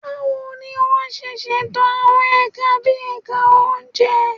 Báwo ni wọ́n ṣe ṣètò àwọn ẹ̀ka bí ẹ̀ka oúnjẹ?